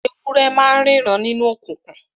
Ewúrẹ́ ma n ríran nínú okùnkùn